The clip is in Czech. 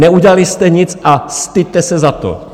Neudělali jste nic a styďte se za to!